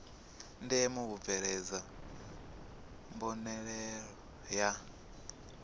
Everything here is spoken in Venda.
ndeme u bveledzwa mbonalelo ya